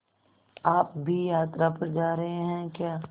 आप भी यात्रा पर जा रहे हैं क्या